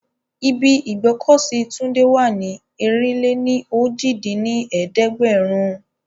Ibi ìgbọ́kọ̀sí Túndé wà ní ẹ̀rin-lé-ní-ojì dín ní ẹ̀ẹ́dẹ́gbẹ́rún